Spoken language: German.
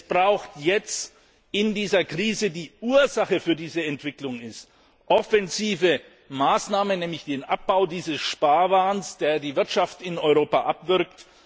Es braucht jetzt in dieser Krise, die Ursache für diese Entwicklung ist, offensive Maßnahmen, nämlich den Abbau dieses Sparwahns, der die Wirtschaft in Europa abwürgt.